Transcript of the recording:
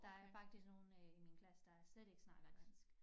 Der er faktisk nogle øh i min klasse der slet ikke snakker dansk